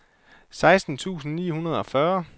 seksten tusind ni hundrede og fyrre